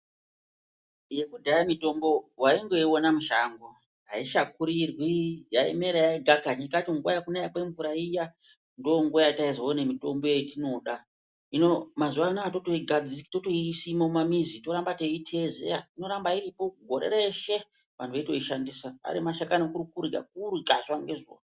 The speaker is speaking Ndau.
Yekudheya mitombo waingoiona mushango aishakurirwi yaimera yega kani ndingati munguwa yekunaya kwemvura iya ndonguwa yataizoona mitombo yetinoda hino mazuwanawa totoisima mumamizi toramba teiteezera inorapa iripo gore reshe vantu veitoishandisa ari mashakani kuri kurya, kurya zuwa ngezuwa.